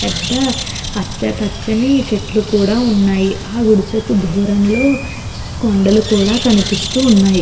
పెద్ద పచ్చ పచ్చని చెట్లు కూడా ఉన్నాయి ఆ గుడిసెకు దూరంలో కొన్ని కొండలు కూడా కనిపిస్తున్నాయి.